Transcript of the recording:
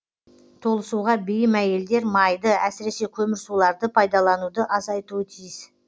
толысуға бейім әйелдер майды әсіресе көмірсуларды пайдалануды азайтуы тиіс